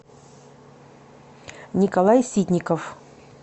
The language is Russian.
николай ситников